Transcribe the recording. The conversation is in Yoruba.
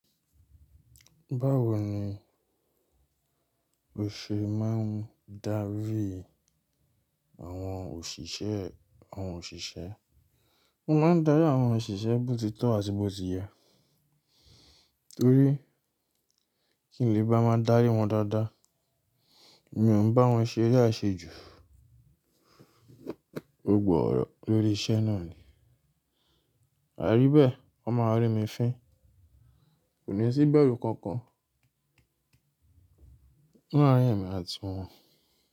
Báwo ni òṣè máa ń darí àwọn òṣìṣẹ́, àwọn òṣìṣẹ́. Mo máa ń darí àwọn òṣìṣẹ́ bó ti tọ́ àti bó ti yẹ torí kí n lè bá máa darí wọn dáadáa, mi ò ń bá wọn ṣe eré àṣejù. Gbogbo ọ́rọ̀ lórí iṣẹ́ náà ni, àrí bẹ́ẹ̀ wọ́n máa rí mi fín. Kò ní sí ìbẹ̀rù kankan láàrin èmi àti wọn.